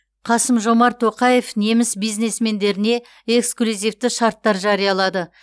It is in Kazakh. қасым жомарт тоқаев неміс бизнесмендеріне эксклюзивті шарттар жариялады